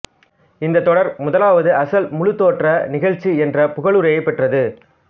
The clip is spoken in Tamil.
இந்த தொடர் முதலாவது அசல் முழுத்தோற்ற நிகழ்ச்சி என்ற புகழுரையைப் பெற்றது